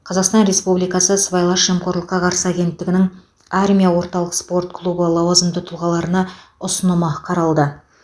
қазақстан республикасы сыбайлас жемқорлыққа қарсы агенттігінің армия орталық спорт клубы лауазымды тұлғаларына ұсынымы қаралды